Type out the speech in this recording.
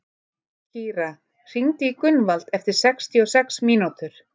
Kíra, hringdu í Gunnvald eftir sextíu og sex mínútur.